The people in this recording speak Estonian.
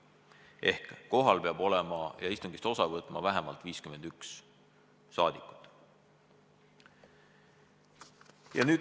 Ehk siis kohal peab olema ja istungist osa võtma vähemalt 51 rahvasaadikut.